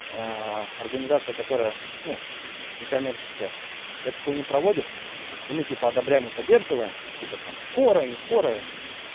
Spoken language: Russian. организация которая ну некоммерческая эту хуйню проводит и мы типа одобряем и поддерживаем и потом скорая не скорая